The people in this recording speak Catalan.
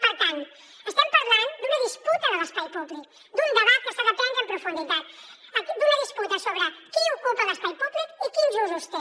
per tant estem parlant d’una disputa de l’espai públic d’un debat que s’ha de prendre en profunditat d’una disputa sobre qui ocupa l’espai públic i quins usos té